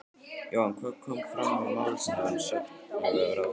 Jóhann, hvað kom fram í málefnum sérfræðilækna við ráðherra?